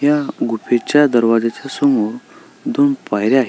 या गुफेच्या दारवाज्याच्या समोर दोन पायऱ्या आहे.